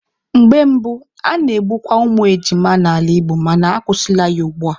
Mgbe gboo, a na-egbukwa ụmụ ejima n'ala Igbo mana akwụsịla ya ugbua.